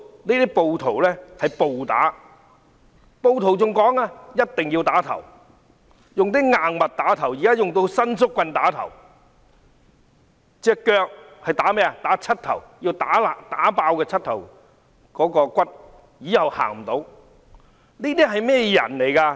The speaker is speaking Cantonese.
那些暴徒還說一定要用硬物打頭，現在還會用伸縮棍打，至於腳部則要打膝蓋，要打碎膝蓋骨，這樣以後便走不到路。